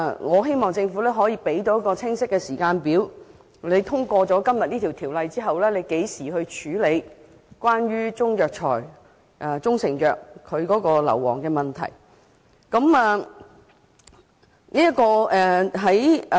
我希望政府能提供清晰的時間表，說明《條例草案》於今天通過後，將何時處理關於中藥材或中成藥的二氧化硫含量問題。